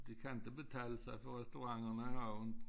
Det kan inte betale sig for restauranterne at have åbnet